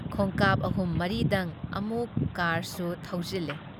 ꯈꯣꯡꯀꯥꯞ ꯑꯍꯨꯝ ꯃꯔꯤꯗꯪ ꯑꯃꯨꯛ ꯀꯥꯔꯁꯨ ꯊꯧꯖꯤꯜꯂꯦ ꯫